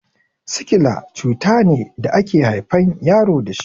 Sikila cutane da ake haifan yaro dashi